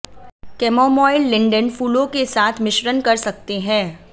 chamomile linden फूलों के साथ मिश्रण कर सकते हैं